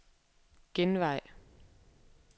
genvej